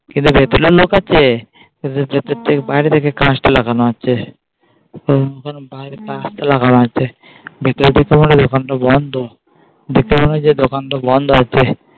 কিন্তু ভেতরের লোক আছে বাইরে থেকে কাঁচটা লাগানো আছে লাগানো আছে দোকানটা বন্ধ দেখতে পাবেন যে দোকানটা বন্ধ আছে।